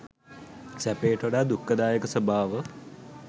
සැපයට වඩා දුක්ඛදායක ස්වභාව